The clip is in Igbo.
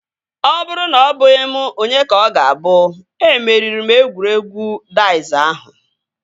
Ọ bụrụ na ọbụghị m onye ka ọ ga-abụ? Emeriri m egwuregwu daiz ahụ